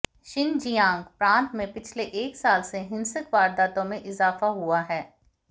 Xinjiang प्रांत में पिछले एक साल से हिंसक वारदातों में इज़ाफ़ा हुआ है